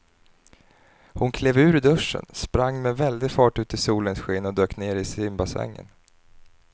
Hon klev ur duschen, sprang med väldig fart ut i solens sken och dök ner i simbassängen.